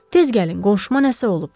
Tez gəlin, qonşuma nəsə olub.